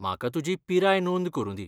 म्हाका तुजी पिराय नोंद करुंदी.